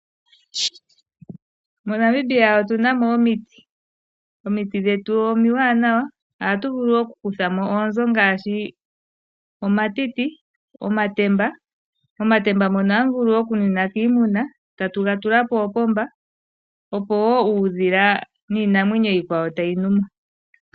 MoNamibia otunamo omiti. Omiti dhetu omiwanawa ohatu vulu oku kuthamo oonzo ngaashi omatiti, omatemba, omatemba mono hamu vulu oku nwinwa kiimuna tatu ga tula poopomba opo wo uudhila niinamwenyo iikwawo ta yi nwumo.